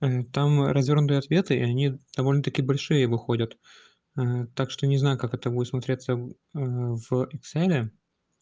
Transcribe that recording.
там развёрнутый ответ и довольно таки большие выходят так что не знаю как это будет смотреться в экселе